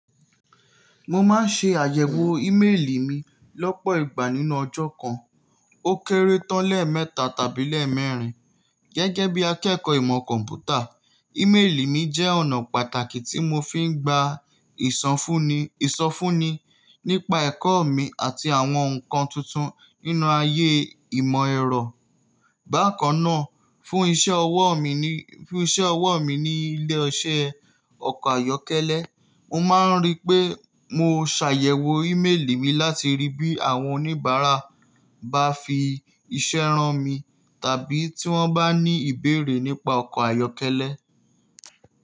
Mo máa ń ṣe àyẹ̀wò ímélì mi lọ́pọ̀ ìgbà nínú ọjọ́ kàn, ó kéré tán lẹ́ mẹ́ta tàbí lẹ́ mẹ́rin. Gẹ́gẹ́ bí akẹ́kọ̀ọ́ ìmọ̀ kọ̀m̀pútà, ímélì mi jẹ́ ọ̀nà pàtàkì tí mo fi ń gbá ìsọfúnni, ìsọfúnni nípa ẹ̀kọ́ mi àti àwọn nǹkan tùntùn nínú ayé ìmọ̀ ẹ̀rọ. Báa kàn náà, fún iṣẹ́ ọwọ́ mi ní, fún iṣẹ́ ọwọ́ mi ní ilé-iṣẹ́ ọkọ̀ ayọ́kẹ́lẹ́, mo máa ń rí pé mó ṣàyẹ̀wò ímélì mi láti rí bí àwọn oníbàárà bá fi iṣẹ́ rán mi tàbí tí wọ́n bá ní ìbéèrè nípa ọkọ̀ ayọ́kẹ́lẹ́.